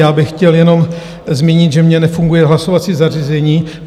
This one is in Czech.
Já bych chtěl jenom zmínit, že mně nefunguje hlasovací zařízení.